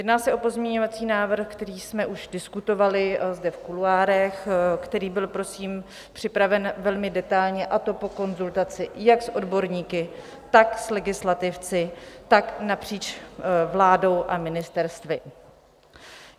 Jedná se o pozměňovací návrh, který jsme už diskutovali zde v kuloárech, který byl prosím připraven velmi detailně, a to po konzultaci jak s odborníky, tak s legislativci, tak napříč vládou a ministerstvy.